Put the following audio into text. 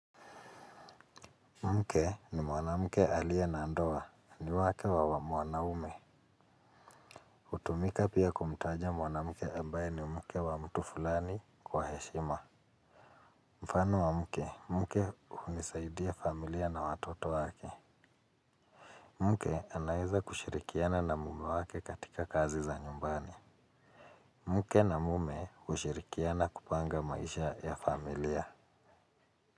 Mke ni mwanamke aliye na ndoa, ni wake wa mwanaume. Hutumika pia kumtaja mwanamuke ambaye ni mke wa mtu fulani kwa heshima. Mfano wa mke, mke hunisaidia familia na watoto wake. Mke anaweza kushirikiana na mume wake katika kazi za nyumbani. Mke na mume hushirikiana kupanga maisha ya familia.